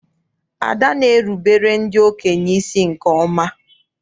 Ada na-erubere ndị okenye isi nke ọma.